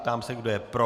Ptám se, kdo je pro.